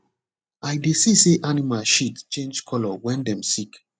i dey see say animal shit change color when dem sick